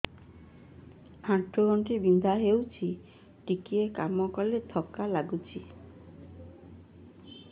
ଆଣ୍ଠୁ ଗଣ୍ଠି ବିନ୍ଧା ହେଉଛି ଟିକେ କାମ କଲେ ଥକ୍କା ଲାଗୁଚି